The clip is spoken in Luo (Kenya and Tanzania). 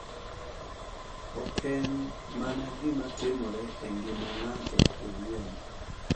Oken mana gima timore e ngima ng’ato owuon.